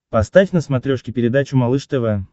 поставь на смотрешке передачу малыш тв